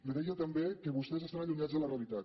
li deia també que vostès estan allunyats de la realitat